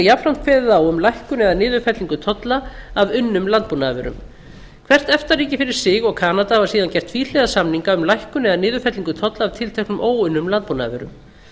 jafnframt kveðið á um lækkun eða niðurfellingu tolla af unnum landbúnaðarvörum hvert efta ríki fyrir sig og kanada hafa síðan gert tvíhliða samninga um lækkun eða niðurfellingu tolla af tilteknum óunnum landbúnaðarvörum